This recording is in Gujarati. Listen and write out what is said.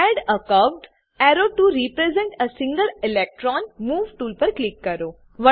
add a curved arrow to represent a single electron move tool પર ક્લિક કરો